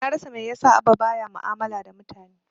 Na rasa mai yasa Abba ba ya mu'amala da mutane.